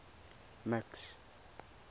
max